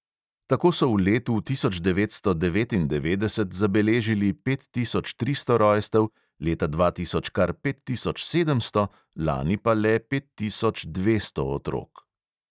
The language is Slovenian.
Tako so v letu tisoč devetsto devetindevetdeset zabeležili pet tisoč tristo rojstev, leta dva tisoč kar pet tisoč sedemsto, lani pa le pet tisoč dvesto otrok.